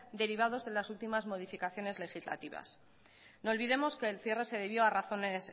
derivados de las últimos modificaciones legislativas no olvidemos que el cierre se debió a razones